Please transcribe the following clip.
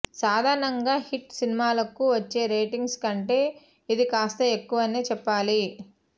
సాధారణంగా హిట్ సినిమాలకు వచ్చే రేటింగ్స్ కంటే ఇది కాస్త ఎక్కువనే చెప్పాలి